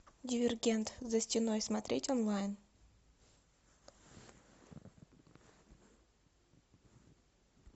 дивергент за стеной смотреть онлайн